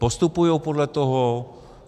Postupují podle toho?